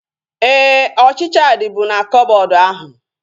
Éè, ọchịchịa dịbu na koboodu ahu